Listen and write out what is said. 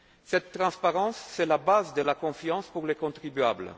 commune. Cette transparence est le fondement de la confiance pour les contribuables.